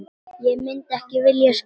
Ég myndi ekki vilja skipta.